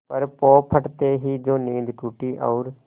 पर पौ फटते ही जो नींद टूटी और